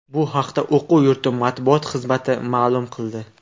Bu haqda o‘quv yurti matbuot xizmati ma’lum qildi .